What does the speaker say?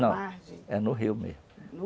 na Não, é no rio mesmo.